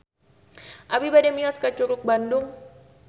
Abi bade mios ka Curug Bandung